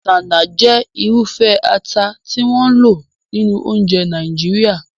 Isanaje jẹ́ irúfẹ́ ata tí wọ́n ń lò nínú oúnjẹ Nàìjíríà.